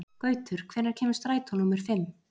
Gautur, hvenær kemur strætó númer fimm?